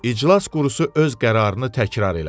İclas qurusu öz qərarını təkrar elədi.